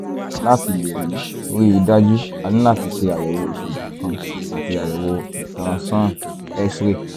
láti lè rí rí i dájú a ní láti ṣe àyẹ̀wò ìṣègùn kan àti àyẹ̀wò ìtànṣán x-ray